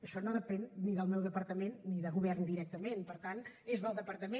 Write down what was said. això no depèn ni del meu departament ni de govern directament per tant és del departament